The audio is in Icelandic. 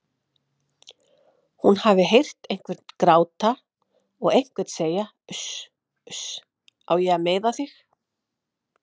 Hún hafi heyrt einhvern gráta og einhvern segja Uss uss, á ég að meiða þig?